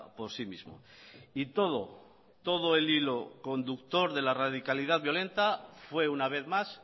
por sí mismo y todo todo el hilo conductor de la radicalidad violenta fue una vez más